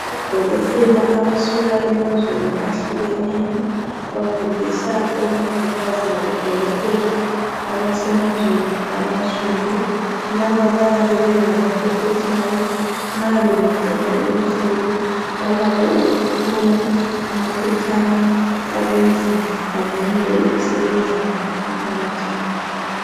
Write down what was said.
Odokotela abasuka emazweni ahlukeneyo bafundisa omongikazi labodokotela abasemazweni abansundu. Laba bayabe bengabaqeqetshayo nxa bengaqeda loluhlelo balakho ukuthola amaphetshana abenza bavunyelwe ukusebenza emphakathini.